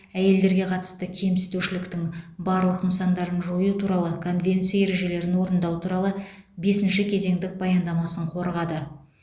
әйелдерге қатысты кемсітушіліктің барлық нысандарын жою туралы конвенция ережелерін орындау туралы бесінші кезеңдік баяндамасын қорғады